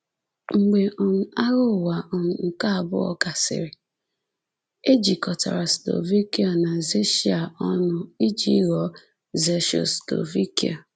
Mgbe um Agha Ụwa um nke abụọ gasịrị, e jikọtara Slovakia na Czechia ọnụ iji ghọọ Czechoslovakia.